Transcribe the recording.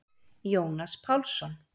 Jónas Pálsson.